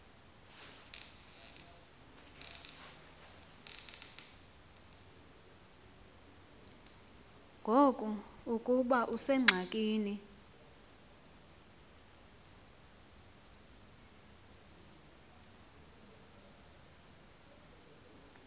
ngoku ukuba usengxakini